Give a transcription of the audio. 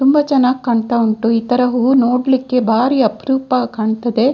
ತುಂಬ ಚೆನ್ನಾಗ್‌ ಕಾಣ್ತಾ ಉಂಟು ಈ ತರ ಹೂವು ನೋಡ್ಲಿಕ್ಕೆ ಬಾರಿ ಅಪರೂಪ ಕಾಣ್ತದೆ.